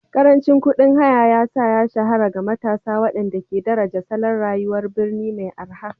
Karancin kuɗin haya ya sa ya shahara ga matasa waɗanda ke daraja salon rayuwar birni mai araha